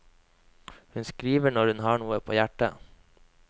Hun skriver når hun har noe på hjertet.